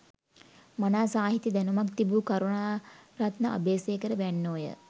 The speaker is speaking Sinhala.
මනා සාහිත්‍ය දැනුමක් තිබූ කරුණාරත්න අබේසේකර වැන්නෝය